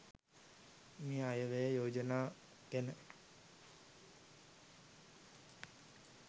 මේ අයවැය යෝජනා ගැන